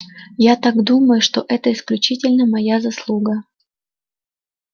я так думаю что это исключительно моя заслуга